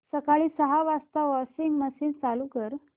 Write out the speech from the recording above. सकाळी सहा वाजता वॉशिंग मशीन चालू कर